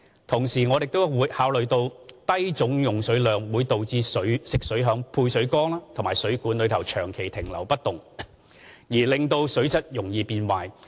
同時，我們亦要考慮低總用水量會導致食水在配水缸和水管內長期停留不動而令水質容易變壞。